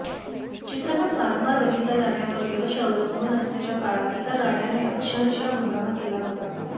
चित्रपट वारंवार बघितला जाण्यावर यश अवलंबून असण्याच्या काळात एका गाण्याने अक्षरशः हंगामा केला होता